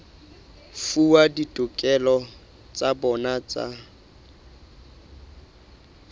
fuwa ditokelo tsa bona tsa